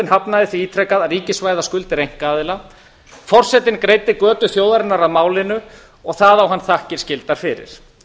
hafnaði því ítrekað að ríkisvæða skuldir einkaaðila forsetinn greiddi götu þjóðarinnar að málinu það á hann þakkir skyldar fyrir